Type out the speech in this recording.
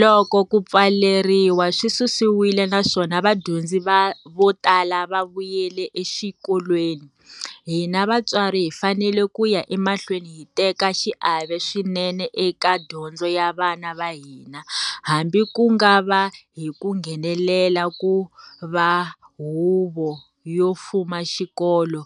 Loko ku pfaleriwa swi susiwile naswona vadyondzi vo tala va vuyela exikolweni, hina vatswari hi fanele ku ya emahlweni hi teka xiave swinene eka dyondzo ya vana va hina, hambi ku nga va hi ku nghenela ku va huvo yo fuma xikolo,